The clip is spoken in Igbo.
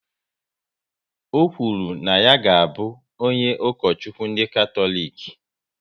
Ọ kwuru na ya ga abụ onye Ukochukwu ndị Katọlik